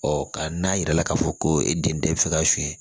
Ɔ ka n'a yira k'a fɔ ko e den bɛ fɛ ka suɲɛ